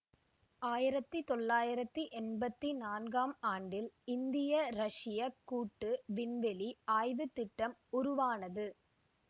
ஆயிரத்தி தொள்ளாயிரத்தி என்பத்தி நான்காம் ஆண்டில் இந்தியரஷ்யக் கூட்டு விண்வெளி ஆய்வுத் திட்டம் உருவானது